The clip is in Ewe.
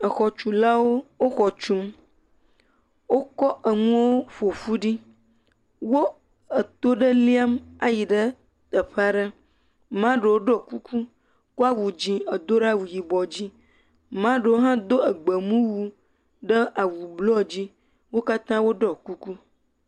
Exɔtsulawo, wo xɔ tsum. Wokɔ enuɔwo ƒo ƒu ɖi. Wo eto ɖe liam ayi ɖe teƒe aɖe. Maa ɖewo iɔ kuku kɔ awu dzẽ edo ɖe awu yibɔ dzi, maa ɖewo hã do egbemuwu ɖe awu blɔɔ dzi. Wo katã wo ɖɔɔ kuku.